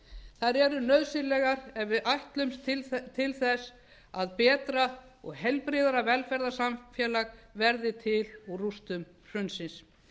þær eru nauðsynlegar ef við ætlumst til þess að betra og heilbrigðara velferðarsamfélag verði til úr rústum hrunsins